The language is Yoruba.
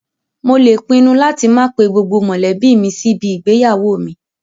Mo lè pinnu láti máa pe gbogbo mọ̀lẹ́bí mi sí ibi igbéyàwó mi